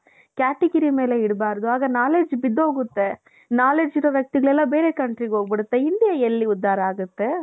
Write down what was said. category ಮೇಲೆ ಇರಬಾರದು ಆಗ knowledge ಬಿದ್ದೋಗುತ್ತೆ ಮಲಗಿರೋ ವ್ಯಕ್ತಿಗಳೆಲ್ಲ ಬೇರೆ countryಗೆ ಹೋಗ್ಬಿಡುತ್ತೆ India ಎಲ್ಲಿ ಉದ್ದಾರ ಆಗುತ್ತೆ.